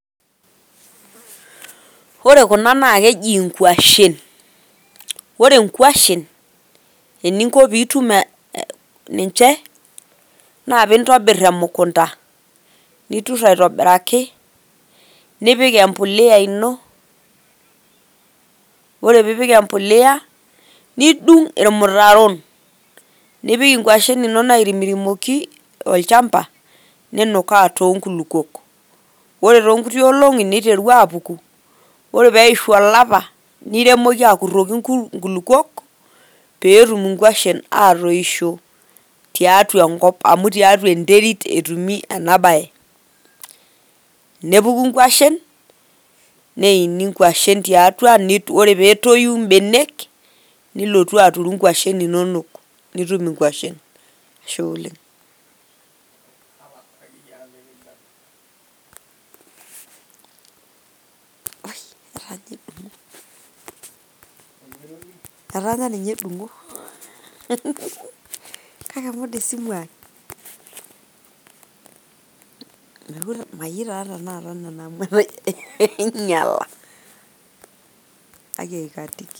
Ore kuna naa keji inkwashen, ore inkwashen eningo piitum ninche naa pintobirr emukunta, niturr aitobiraki nipik empulia ino. Ore piipik empulia, nidung' irmutaron nipik inkwashen inonok airimirimoki olchamba, ninukaa toonkulukwok. Ore too nkuti olong'i, niteru aapuku, ore peishu olapa niremoki akurroki inkulukuok peetum inkwashen atoisho tiatua enkop. Amu tiatua enterit etumi ena bae.